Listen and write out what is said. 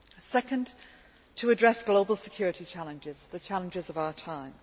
Secondly, to address global security challenges, the challenges of our time.